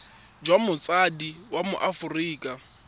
jwa motsadi wa mo aforika